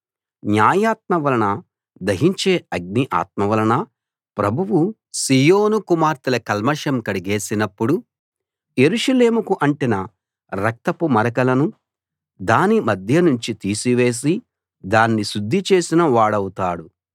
న్యాయాత్మ వలన దహించే అగ్ని ఆత్మ వలన ప్రభువు సీయోను కుమార్తెల కల్మషం కడిగేసినప్పుడు యెరూషలేముకు అంటిన రక్తపు మరకలను దాని మధ్య నుంచి తీసి వేసి దాన్ని శుద్ధి చేసిన వాడవుతాడు